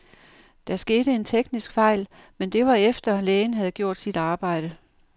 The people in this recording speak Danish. Der skete en teknisk fejl, men det var efter, lægen havde gjort sit arbejde.